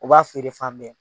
U b'a feere fan bɛɛ.